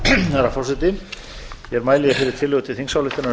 herra forseti ég mæli fyrir tillögu til þingsályktunar um